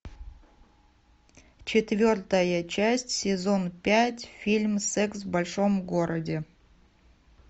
четвертая часть сезон пять фильм секс в большом городе